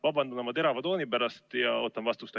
Ma vabandan oma terava tooni pärast, aga ootan vastust.